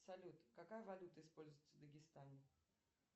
салют какая валюта используется в дагестане